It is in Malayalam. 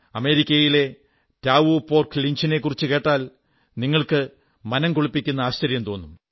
അമേരിക്കയിലെ ടായോ പോർച്ചോൺലിഞ്ച് നെക്കുറിച്ചു കേട്ടാൽ നിങ്ങൾക്ക് മനം കുളിർപ്പിക്കുന്ന ആശ്ചര്യം തോന്നും